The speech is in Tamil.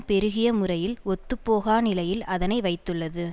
பெருகிய முறையில் ஒத்துப்போகா நிலையில் அதனை வைத்துள்ளது